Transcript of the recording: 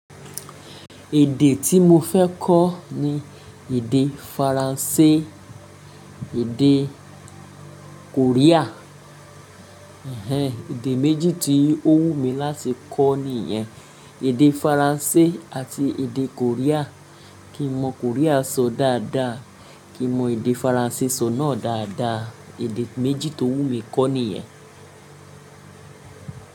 Èdè tí mo fẹ́ kọ́ ni èdè Faransé, èdè Korea. Ẹ̀hẹ̀n, èdè méjì tí ó wù mí láti kọ́ nìyẹn. Èdè Faransé àti èdè Korea. Kí n mọ Korea sọ dáadáa, kí n mọ èdè Faransé sọ náà dáadáa. Èdè méjì tó wù mí kọ́ nìyẹn.